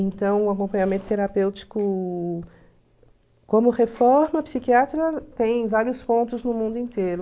Então, o acompanhamento terapêutico, como reforma psiquiátrica, tem vários pontos no mundo inteiro.